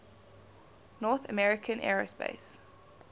north american aerospace